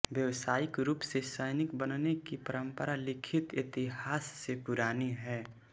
व्यावसायिक रूप से सैनिक बनने की परम्परा लिखित इतिहास से पुरानी है